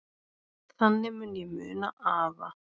Þannig mun ég muna afa.